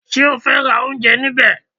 Ṣé o fẹ́ ra oúnjẹ níbẹ̀?